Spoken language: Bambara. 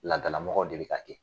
Ladalamɔgɔw de be ka kɛ